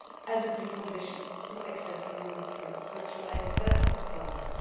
as a precondition for accessing European structural and investment funding.